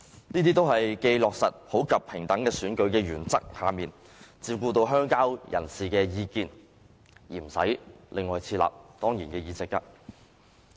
這些做法均既在普及平等選舉的原則下，照顧到鄉郊人士的意見，而又不用另外設立當然議席。